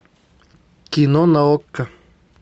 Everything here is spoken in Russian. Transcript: кино на окко